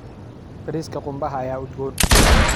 Bariiska qumbaha ayaa udgoon.